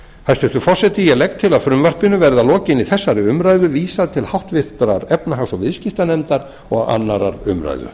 hæstvirtur forseti ég legg til að frumvarpinu verði að lokinni þessari umræðu vísað til háttvirtrar efnahags og viðskiptanefndar og annarrar umræðu